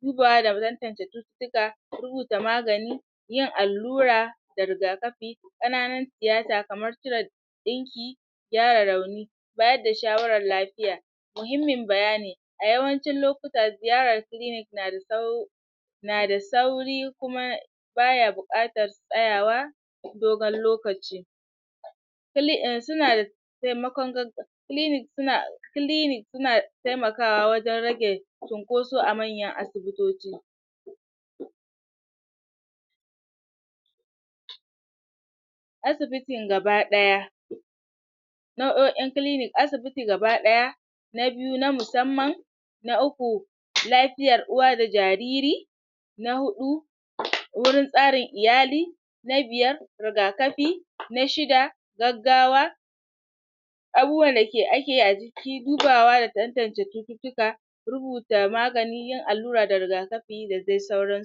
tuka rubuta magani yin allura da rigakafi ƙananun tiyata kamar cire ɗinki gyara rauni bayar da shawaran lafiya muhimmin bayani a yawancin lokuta ziyarar clinic na da sau na da sauri kuma baya buƙatar tsayawa dogon lokaci suna da temakon clinic suna clinic suna temakawa wajen rage cunkoso a manyan asibitoci asibitin gaba ɗaya nau'o'in clinic asibiti gaba ɗaya na biyu na musamman na uku lafiyar uwa da jariri na huɗu wurin tsarin iyali na biyar rigakafi na shida gaggawa abubuwan da um akeyi dubawa da tantance cututtuka rubuta magani, yin allura da rigakafi da dai sauran su